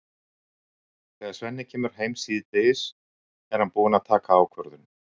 Þegar Svenni kemur heim síðdegis er hann búinn að taka ákvörðun.